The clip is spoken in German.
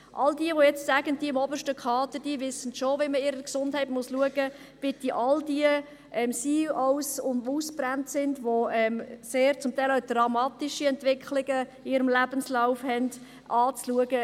All diejenigen, die jetzt sagen, die Mitarbeitenden des obersten Kaders wüssten schon, wie sie ihrer Gesundheit Sorge tragen müssten, bitte ich, sich all die CEOs und diejenigen, die ausgebrannt sind und teilweise dramatische Entwicklungen in ihren Lebensläufen aufweisen, anzusehen.